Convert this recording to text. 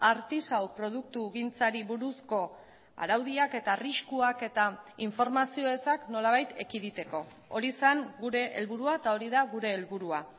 artisau produktugintzari buruzko araudiak eta arriskuak eta informazio ezak nolabait ekiditeko hori zen gure helburua eta hori da gure helburua